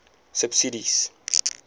subsidies